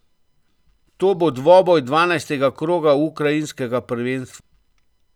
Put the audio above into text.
To bo dvoboj dvanajstega kroga ukrajinskega prvenstva.